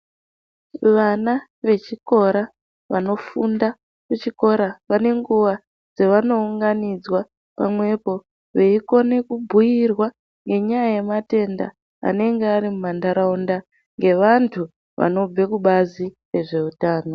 Vana vechikora vanofunda kuchikora vane nguvai dzavanounganidzwa pamwepo veyikone kubhuyirwa ngenyaya yematenda anenge ari mumandaraunda ngevandu vanobve kubazi rezveutano.